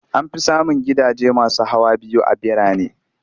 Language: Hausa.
An fi samun gidaje masu hawa biyu a birane.